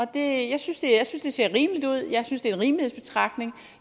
det jeg synes det ser rimeligt ud jeg synes det er en rimelighedsbetragtning